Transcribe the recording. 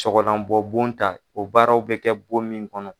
Sɔgɔla bɔ bon ta o baaraw bi kɛ bon min kɔnɔ